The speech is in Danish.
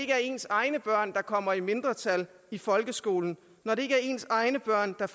er ens egne børn der kommer i mindretal i folkeskolen når det ikke er ens egne børn der